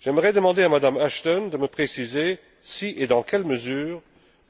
J'aimerais demander à M me Ashton de me préciser si, et dans quelle mesure,